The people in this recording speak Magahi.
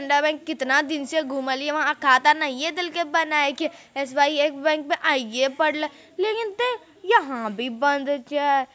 नवे कितना दिन से घुमललिये वहां खाता नहिये देल के बनाई के एस बाई एफ बैंक में आइये पड़ले लेकिन ते यहाँ भी बंद छै।